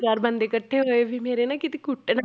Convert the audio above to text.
ਚਾਰ ਬੰਦੇ ਇਕੱਠੇ ਹੋਏ ਵੀ ਮੇਰੇ ਨਾ ਕਿਤੇ ਕੁੱਟ ਨਾ